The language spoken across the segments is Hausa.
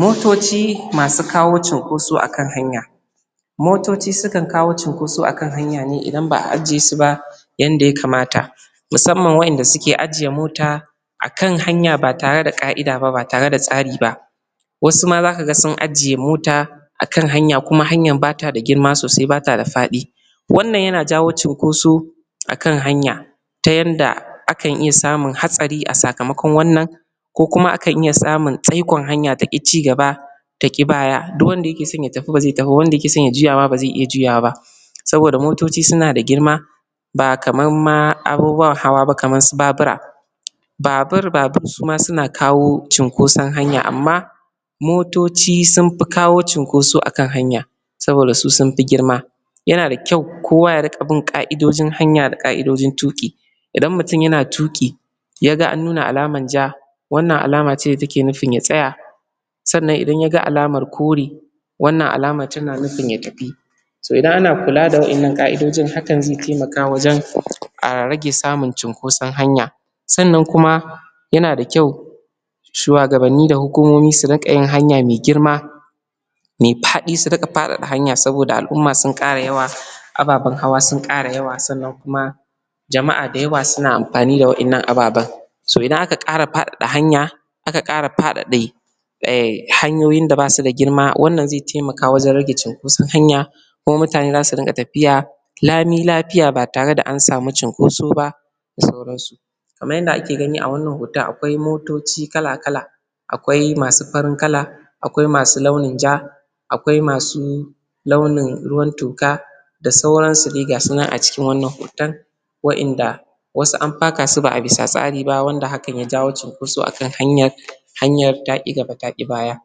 Motoci masu kawo cunkoso a kan hanya. motoci sukan kawo cinkoso a kan hanya ne idan ba a je su ba. yanda ya kamata. Musamman wa'inda suke aje mota akan hanya ba tare da ƙa'ida ba ba tare da tsari ba. wasu ma za ka ga sun aji mota a kan hanya kuma hanyan ba ta da girma sosai ba ta da faɗi wannan yana jawo cunkoso a kan hanya ta yanda akan iya samun hatsari a sakamakon wannan ko kuma akan iya samun tsaikon hanya ta ƙi ci gaba ta ƙi baya. Duk wanda yake son ya tafi ba zai ta fi ba wanda yake son ya juya ma ba zai iya juyawa ba. saboda motoci suna da girma ba kamar ma abubuwan hawa ba kamar su babura babur babur suma suna kawo cunkoson hanya amma motoci sun fi kawo cunkoson hanya a kan hanya saboda su sun fi girma yana da kyau kowa ya riƙa bin ƙa'idojin hanya da ƙa'idojin tuƙi. Idan mutun yana tuƙi ya ga an nuna alamar ja, wannan alama ce da take nufin ya tsaya sannan idan ya ga alamara kore wannan alamar tana nufin ya tafi To idan ana kula da wa'innan ƙa'idojin hakan zai taimaka wajen rage samun cunkoson hanya. sannan kuma yana da kyau shuwagabanni da hukumomi su riƙa yin hanya mai girma. mai faɗi su riƙa faɗaɗa saboda al'umma sun ƙara yawa ababen hawa sun ƙara yawa sannan kuma jama'a da yawa suna amfani da wa'innan ababen so idan aka ƙara faɗaɗa hanya a ka ƙara eh hanyoyi da basu da girma wannan zai taimaka wajen rage cunkoson hanya kuma mutane za rinƙa tafiya lami lafiya ba tare da an samu cunkoso ba da sauransu. kamar yadda ake gani a wannan hoton akwai motoci kala-kala akwai masu farin kala akwai masu launin ja akwai masu launin ruwan toka da sauransu dai ga su nan a cikin wannan hoton wa'inda wasu an faka su ba a bisa tsari ba wanda hakan ya jawo cunkoso a kan hanya. Hanyar ta ƙi gaba da ƙi baya.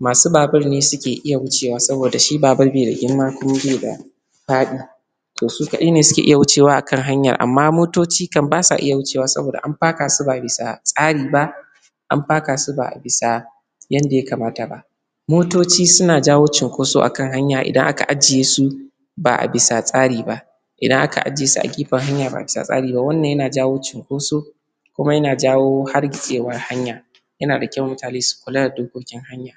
Masu babur ne suke iya wuce wa saboda shi babur bai da girma kuma bai da faɗi. to su kaɗai ne suke iya wucewa a kan hanyar, amma motoci kam ba su iya wucewa saboda an faka su ba'a kan tsari ba. an faka su ba a bisa yanda ya kamata ba. motoci suna jawo cunkoso a kan hanya idan aka ajiye su. ba a bisa tsari ba. Idan aka ajiye su a gefen hanya ba tare da tsari ba wannan yana jawo cunkoso kuma yana jawo hargitsewar hanya da kyau mutane su kula da dokokin hanya.